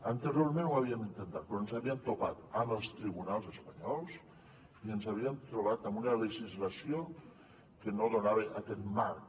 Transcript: anteriorment ho havíem intentat però ens havíem topat amb els tribunals espanyols i ens havíem trobat amb una legislació que no donava aquest marc